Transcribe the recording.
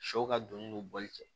Sɛw ka donni don bɔli cɛ